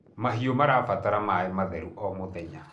mahiũ marabatra maĩ matheru o mũthenya